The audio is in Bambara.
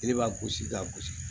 Yiri b'a gosi k'a gosi